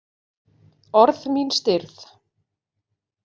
Orð mín stirð.